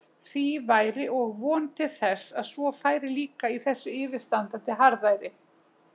Því væri og von til þess að svo færi líka í yfirstandandi harðæri.